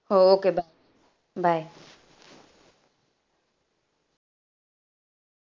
हो okay bye, bye